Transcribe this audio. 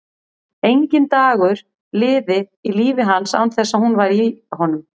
Enginn dagur liði í lífi hans án þess að hún væri í honum.